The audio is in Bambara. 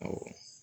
Awɔ